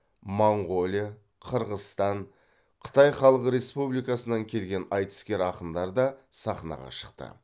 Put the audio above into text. моңғолия қырғызстан қытай халық республикасынан келген айтыскер ақындар да сахнаға шықты